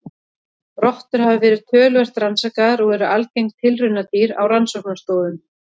Rottur hafa verið töluvert rannsakaðar og eru algeng tilraunadýr á rannsóknastofum.